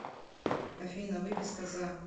афина выписка за